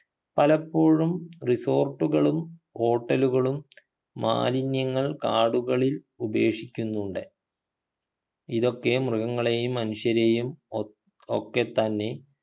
പലപ്പോഴും resort കളും hotel കളും മാലിന്യങ്ങൾ കാടുകളിൽ ഉപേക്ഷിക്കുന്നുണ്ട് ഇതൊക്കെ മൃഗങ്ങളെയും മനുഷ്യരെയും ഒക് ഒക്കെത്തന്നെ